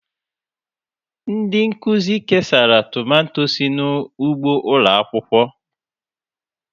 Ndị nkuzi kesara tomato sị n'ugbo ụlọ akwụkwọ.